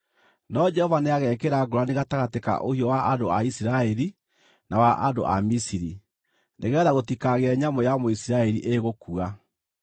No Jehova nĩagekĩra ngũũrani gatagatĩ ka ũhiũ wa andũ a Isiraeli na andũ a Misiri, nĩgeetha gũtikagĩe nyamũ ya Mũisiraeli ĩgũkua.’ ”